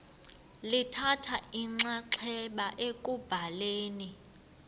lithatha inxaxheba ekubhaleni